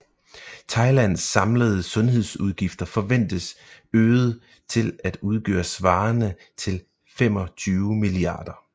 Thailands samlede sundhedsudgifter forventes øget til at udgøre svarende til 25 mia